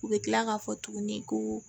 U bɛ kila k'a fɔ tuguni ko